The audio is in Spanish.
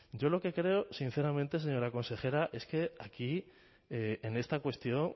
yo lo que creo sinceramente señora consejera es que aquí en esta cuestión